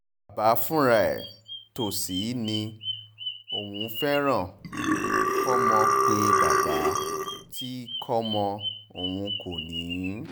bàbá fúnra ẹ̀ tó sì ní òun fẹ́ràn òun òun kó mọ̀ pé bàbá tí kò mọ̀ ọ́n kò ní